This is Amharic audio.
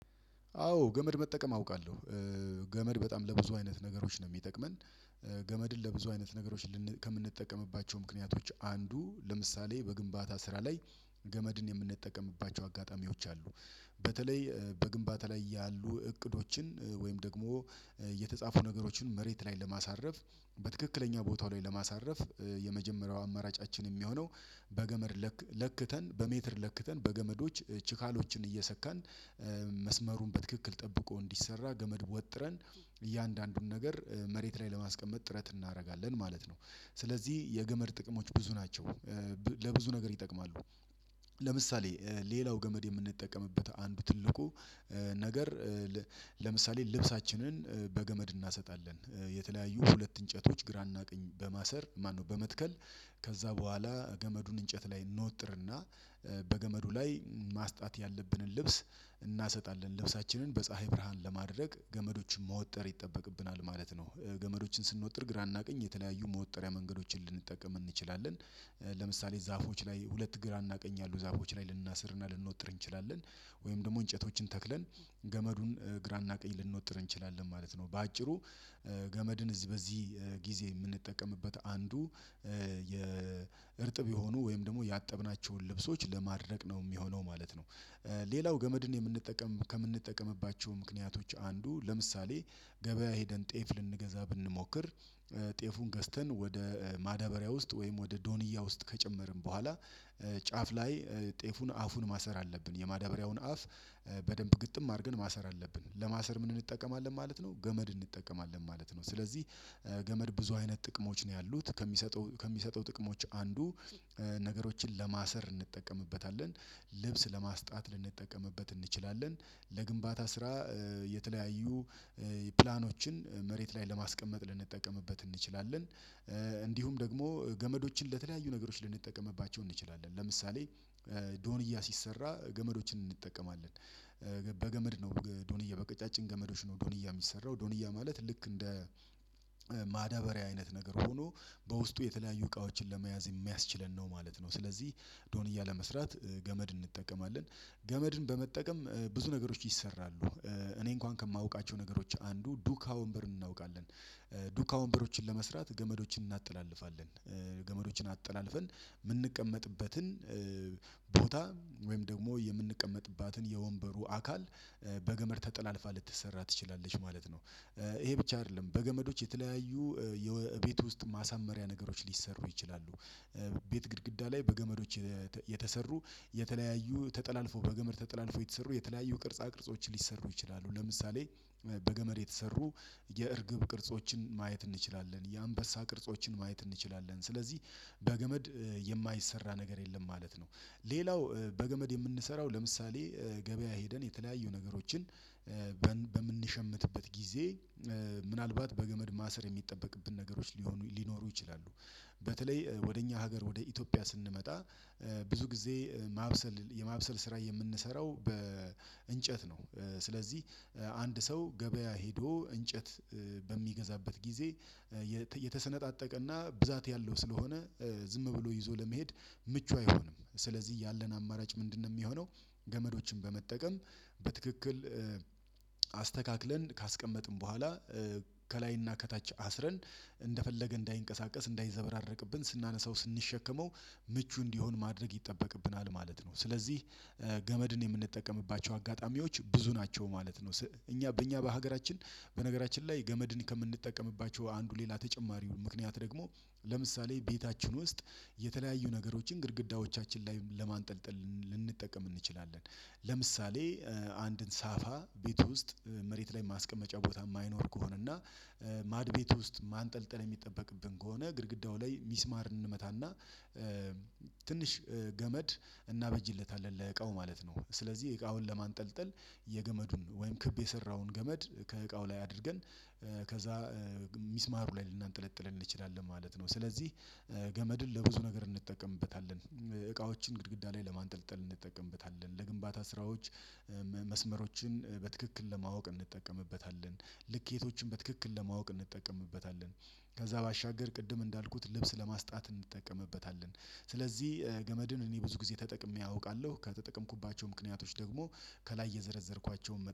አዎ ገመድ መጠቀም አውቃለሁ ገመድ በጣም ለብዙ አይነት ነገሮች ነው የሚጠቅመን። ገመድን ለብዙ አይነት ነገሮች ከምንጠቀምባቸው ምክንያቶች አንዱ ለምሳሌ በግንባታ ስራ ላይ ገመድን የምንጠቀምባቸው አጋጣሚዎች አሉ። በተለይ በግንባታ ላይ ያሉ እቅዶችን ወይም ደግሞ የተጻፉ ነገሮችን መሬት ላይ ለማሳረፍ በትክክለኛ ቦታው ላይ ለማሳረፍ የመጀመሪያው አማራጫችን የሚሆነው በገመድ ለክተን በሜትር ለክተን በገመዶች ችካሎችን መስመሩን በትክክል ጠብቆ እንዲሰራ ገመድ ወጥረን እያንዳንዱን ነገር መሬት ላይ ለማስቀመጥ ጥረት እናደርጋለን ማለት ነው። ስለዚህ የገመድ ጥቅሞች ብዙ ናቸው። ለብዙ ነገር ይጠቅማሉ። ለምሳሌ ሌላው ገመድ የምንጠቀምበት አንድ ትልቁ ነገር። ለምሳሌ ልብሳችንን በገመድ እናሰጣለን የተለያዩ ሁለት እንጨቶች ግራ እና ቀኝ በማሰር ማነው በመትከል ከዛ በኋላ ገመዱን እንጨት ላይ እንወጥርና በገመዱ ላይ ማስጣት ያለብንን ልብስ እናሰጣለን ልብሳችንን በፀሀይ ብርሃን ለማድረግ ገመዶችን መውጠር ይጠበቅብናል ማለት ነው። ገመዶችን ስንወጥር ግራና ቀኝ የተለያዩ መወጠሪያ መንገዶችን ልንጠቀም እንችላለን። ለምሳሌ ዛፎች ላይ ሁለት ግራ እና ቀኝ ያሉ ዛፎች ላይ ልናስርና ልንወጥር እንችላለን ወይም ደግሞ እንጨቶችን ተክለን ገመዱን ግራ እና ቀኝ ልንወጥር እንችላለን ማለት ነው። በአጭሩ ገመድን በዚህ ጊዜ የምንጠቀምበት አንዱ የእርጥብ የሆኑ ወይም ደግሞ ያጠብናቸውን ልብሶች ለማድረግ ነው የሚሆነው ማለት ነው። ሌላው ገመድን የምንጠቀም ከምንጠቀምባቸው ምክንያቶች አንዱ ለምሳሌ ገበያ ሄደን ጤፍ ልንገዛ ብንሞክር። ጤፉን ገዝተን ወደ ማዳበሪያ ውስጥ ወይም ወደ ዶኒያ ውስጥ ከጨመርን በኋላ ጫፍ ላይ ጤፉን አፉን ማሰር አለብን የማዳበሪያውን አፍ። በደንብ ግጥም አድርገን ማሰር አለብን ለማሰር ምን እንጠቀማለን ማለት ነው? ገመድ እንጠቀማለን ማለት ነው። ስለዚህ ገመድ ብዙ አይነት ጥቅሞች ነው ያሉት ከሚሰጠው ከሚሰጠው ጥቅሞች አንዱ ነገሮችን ለማሰር እንጠቀምበታለን። ልብስ ለማስጣት ልንጠቀምበት እንችላለን። ለግንባታ ስራ የተለያዩ ፕላኖችን መሬት ላይ ለማስቀመጥ ልንጠቀምበት እንችላለን። እንዲሁም ደግሞ ገመዶችን ለተለያዩ ነገሮች ልንጠቀምባቸው እንችላለን። ለምሳሌ ዶንያ ሲሰራ ገመዶችን እንጠቀማለን። በገመድ ነው ዶኒያ በቀጫጭን ገመዶች ነው ዶኒያ የሚሰራው ዶኒያ ማለት ልክ እንደ ማዳበሪያ አይነት ነገር ሆኖ በውስጡ የተለያዩ እቃዎችን ለመያዝ የሚያስችለን ነው ማለት ነው። ስለዚህ ዶኒያ ለመስራት ገመድ እንጠቀማለን። ገመድን በመጠቀም ብዙ ነገሮች ይሰራሉ። እኔ እንኳን ከማውቃቸው ነገሮች አንዱ ዱካ ወንበርን እናውቃለን። ዱካ ወንበሮችን ለመስራት ገመዶችን እናጥላልፋለን። ገመዶችን አጠላልፈን የምንቀመጥበትን ቦታ ወይም ደግሞ የምንቀመጥባትን የወንበሩ አካል በገመድ ተጠላልፋ ልትሰራ ትችላለች ማለት ነው። ይሄ ብቻ አይደለም በገመዶች የተለያዩ የቤት ውስጥ ማሳመሪያ ነገሮች ሊሰሩ ይችላሉ። ቤት ግድግዳ ላይ በገመዶች የተሰሩ የተለያዩ ተጠላልፎ በገመድ ተጠላልፎ የተሰሩ የተለያዩ ቅርጻ ቅርጾች ሊሰሩ ይችላሉ። ለምሳሌ በገመድ የተሰሩ የእርግብ ቅርጾችን ማየት የአንበሳ ቅርጾችን ማየት እንችላለን። ስለዚህ በገመድ የማይሰራ ነገር የለም ማለት ነው። ሌላው በገመድ የምንሰራው ለምሳሌ ገበያ ሄደን የተለያዩ ነገሮችን በምንሸምትበት ጊዜ ምናልባት በገመድ ማሰር የሚጠበቅብን ነገሮች ሊሆኑ ሊኖሩ ይችላሉ። በተለይ ወደ እኛ ሀገር ወደ ኢትዮጵያ ስንመጣ ብዙ ጊዜ ማብሰል የማብሰል ስራ የምንሰራው በእንጨት ነው። ስለዚህ አንድ ሰው ገበያ ሄዶ እንጨት በሚገዛበት ጊዜ የተሰነጣጠቀና ብዛት ያለው ስለሆነ ዝም ብሎ ይዞ ለመሄድ ምቹ አይሆንም ስለዚህ ያለን አማራጭ ምንድነው የሚሆነው? ገመዶችን በመጠቀም በትክክል አስተካክለን ካስቀመጥን በኋላ ከላይና ከታች አስረን እንደፈለገ እንዳይንቀሳቀስ እንዳይዘበራረቅብን ስናነሳው ስንሸከመው ምቹ እንዲሆን ማድረግ ይጠበቅብናል ማለት ነው። ስለዚህ ገመድን የምንጠቀምባቸው አጋጣሚዎች ብዙ ናቸው ማለት ነው። እኛ በእኛ በሀገራችን በነገራችን ላይ ገመድን ከምንጠቀምባቸው አንዱ ሌላ ተጨማሪ ምክንያት ደግሞ ለምሳሌ ቤታችን ውስጥ የተለያዩ ነገሮችን ግድግዳዎቻችን ላይ ለማንጠልጠል ልንጠቀም እንችላለን። ለምሳሌ አንድን ሳፋ ቤት ውስጥ መሬት ላይ ማስቀመጫ ቦታ የማይኖር ከሆነ እና ማድ ቤት ውስጥ ማንጠልጠል የሚጠበቅብን ከሆነ ግድግዳው ላይ ሚስማር እንመታና ትንሽ ገመድ እናበጅለታለን ለዕቃው ማለት ነው። ስለዚህ እቃውን ለማንጠልጠል የገመዱን ወይም ክብ የሰራውን ገመድ ከእቃው ላይ አድርገን ከዛ ሚስማሩ ላይ ልናንጠለጥለን እንችላለን ማለት ነው። ስለዚህ ገመድን ለብዙ ነገር እንጠቀምበታለን። እቃዎችን ግድግዳ ላይ ለማንጠልጠል እንጠቀምበታለን። ለግንባታ ስራዎች። መስመሮችን በትክክል ለማወቅ እንጠቀምበታለን። ልኬቶችን በትክክል ለማወቅ እንጠቀምበታለን። ከዛ ባሻገር ቅድም እንዳልኩት ልብስ ለማስጣት እንጠቀምበታለን ስለዚህ ገመድን እኔ ብዙ ጊዜ ተጠቅሜ አውቃለሁ ከተጠቀምኩባቸው ምክንያቶች ደግሞ ከላይ የዘረዘርኳቸውን